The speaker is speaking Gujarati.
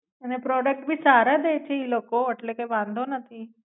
અને પ્રોડક્ટ ભી સારા દે છે ઈ લોકો એટલે વાંધો નથી.